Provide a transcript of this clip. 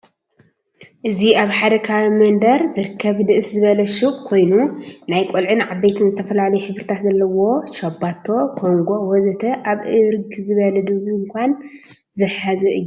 እዚ አብ ሐደ ከባቢ መንደር ዝርከብ ንእስ ዝበል ሹቅ ኮይኑ ናይቆልዑን ዓበይትን ዝተፈላለዩ ሕብርታት ዘለዎ ሻባቶ፣ ኮንጎ ወዘተ አብ እርግ ዝበለ ድንኳን ዝሐዘ እዩ።